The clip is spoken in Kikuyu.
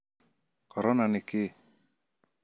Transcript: Korona nĩ kĩĩ?